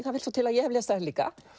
það vill svo til að ég hef lesið þær líka